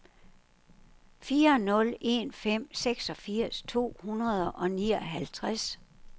fire nul en fem seksogfirs to hundrede og nioghalvtreds